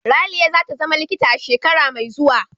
Raliya za ta zama likita a shekara mai zuwa.